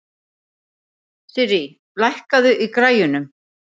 Sirrí, lækkaðu í græjunum.